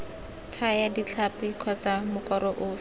thaya ditlhapi kgotsa mokoro ofe